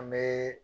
An bɛ